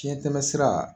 Fiɲɛtɛmɛsira